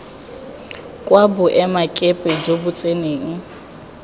kwa boemakepe jo bo tseneng